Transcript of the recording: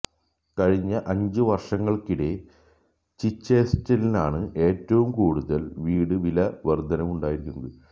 കഴിഞ്ഞ അഞ്ച് വര്ഷങ്ങള്ക്കിടെ ചിച്ചെസ്റ്ററിലാണ് ഏറ്റവും കൂടുതല് വീട് വില വര്ധനവുണ്ടായിരിക്കുന്നത്